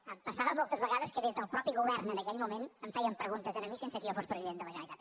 em passava moltes vegades que des del mateix govern en aquell moment em feien preguntes a mi sense que jo fos president de la generalitat